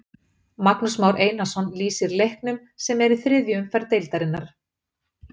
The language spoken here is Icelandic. Magnús Már Einarsson lýsir leiknum sem er í þriðju umferð deildarinnar.